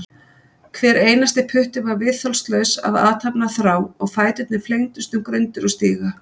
Hver einasti putti var viðþolslaus af athafnaþrá og fæturnir flengdust um grundir og stíga.